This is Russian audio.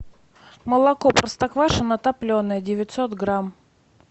молоко простоквашино топленое девятьсот грамм